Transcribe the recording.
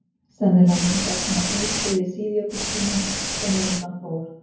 sennilega myndaðist hún á hlýskeiði síðjökultímans sem á undan fór